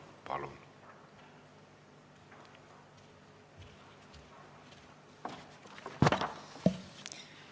Palun!